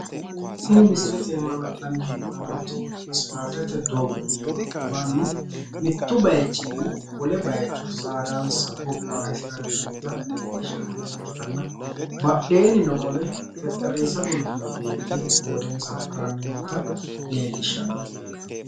Tini misilete iima la'nanni he'noommoti ispaaltete doogo aana mannu mittu bayiichinni wole bayiicho saadansa bobbahisiranni noota leellishshannota ikkitanna badheennino qole xexxerrisa gulufino beeti hoodensa haranni noota leellishshannote.